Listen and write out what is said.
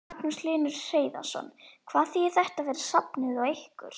Magnús Hlynur Hreiðarsson: Hvað þýðir þetta fyrir safnið og ykkur?